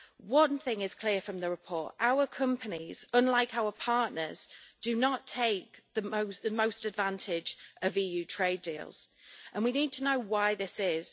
One thing is clear from the report our companies, unlike our partners, do not take the most advantage of EU trade deals, and we need to know why this is.